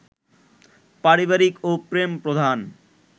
পারিবারিক ও প্রেমপ্রধান